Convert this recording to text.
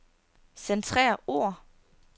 Centrer ord.